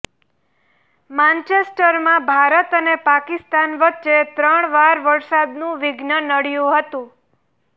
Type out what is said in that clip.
માંચેસ્ટરમાં ભારત અને પાકિસ્તાન વચ્ચે ત્રણ વાર વરસાદનું વિઘ્ન નડ્યું હતું